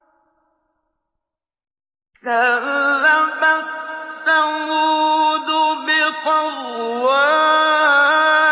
كَذَّبَتْ ثَمُودُ بِطَغْوَاهَا